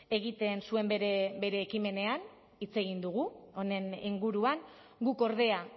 egiten zuen bere ekimenean hitz egin dugu honen inguruan guk ordea